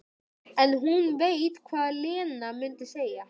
En hún veit hvað Lena mundi segja.